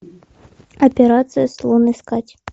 операция слон искать